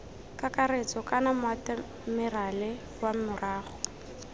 kakaretso kana moatemerale wa morago